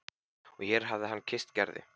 Og hér hér hafði hann kysst Gerði.